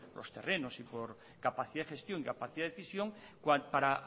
los terrenos y por capacidad de gestión y capacidad de decisión para